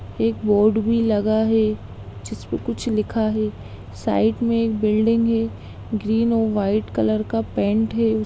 एक बोर्ड भी लगा है जिसपे कुछ लिखा है साइड में एक बिल्डिंग है ग्रीन और व्हाइट कलर का पेंट है।